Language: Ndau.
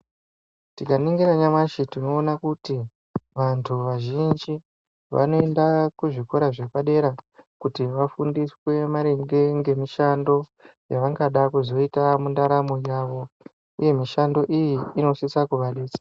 Tikaningira nyamashi tinoona kuti vantu vazhinji vanoenda kuzvikora zvepadera kuti vafundiswe maringe ngemishando yavangada kuzoita mundaramo yavo uye mishando iyi inosisa kuvadetsera.